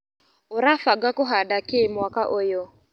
ũrabanga kũhanda kĩ mwaka ũyũ.